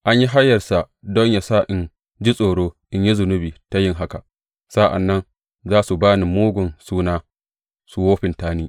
An yi hayarsa don yă sa in ji tsoro in yi zunubi ta yin haka, sa’an nan za su ba ni mugun suna, su wofinta ni.